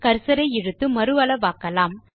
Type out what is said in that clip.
cursor ஐ இழுத்து மறு அளவாக்கலாம்